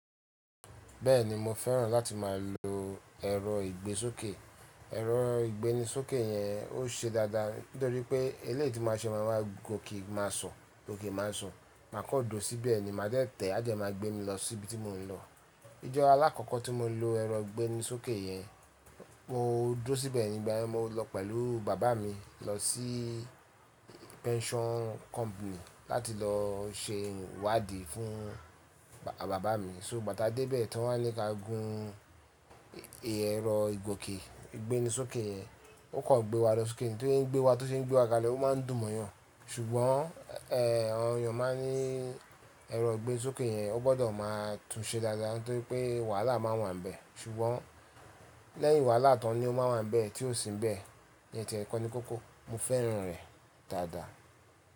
Bẹ́ẹ̀ni mo fẹ́ràn láti máa lo ẹ̀rọ ìgbésókè. Ẹ̀rọ ìgbénisókè yẹn ó ṣe dáadáa, nítorí pé eléyìí tí máa ṣe máa wá gòkè máa so, gòkè máa so, màá kọ́ duro síbẹ̀ ni, màá dẹ̀ tẹ̀, àdẹ máa gbé mi lọ síbi tí mò ń lọ. Ìjọ́ aláàkọ́kọ́ tí mo lo ẹ̀rọ ìgbénisókè yẹn, mo dúró síbẹ̀ ni, ìgbà yen, mo lọ pẹ̀lú bàbá mi lọ sí pension company láti lọ ṣe iwádì fún bàbá mi. So, ìgbà tià dé ibẹ̀ ti won wá ní kia gun ẹ̀rọ ìgbésókè yẹn, ó kàn gbé wa lọ sókè. Tí o shey ń gbé wa, tí ó ṣe ń gbé wa kalẹ̀ ó máa ń dùn mọ́yàn. Ṣùgbọ́n, awon eeyàn máa ní ẹ̀rọ ìgbésókè yẹn wón gbọ́dọ̀ máa tún ṣe dáadáa torí pé wàhálà máa n wà níbẹ̀. Ṣùgbọ́n lẹ́yìn wàhálà tán ni ó máa wà níbẹ̀ tí ó sì ń bẹ̀. Iyen tíẹ̀ kọ́ ni kókó, mo fẹ́ràn rẹ̀ dáadáa.